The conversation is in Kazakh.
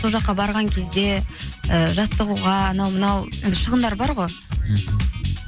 сол жаққа барған кезде ііі жаттығуға анау мынау енді шығындар бар ғой мхм